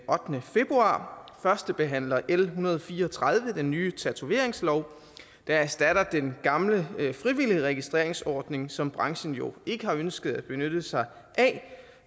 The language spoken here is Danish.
ottende februar førstebehandler l en hundrede og fire og tredive den nye tatoveringslov der erstatter den gamle frivillige registreringsordning som branchen jo ikke har ønsket at benytte sig af